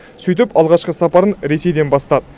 сөйтіп алғашқы сапарын ресейден бастады